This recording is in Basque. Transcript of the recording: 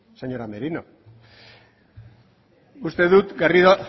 señora merino uste dut garrido